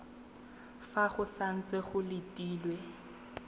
fa go santse go letilwe